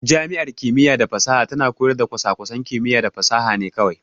Jami'ar kimiyya da fasaha tana koyar da kwasa-kwasan kimiyya da fasaha ne kawai.